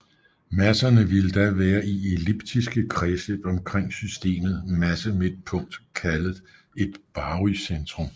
Masserne vil da være i elliptiske kredsløb omkring systemet massemidtpunkt kaldet et barycentrum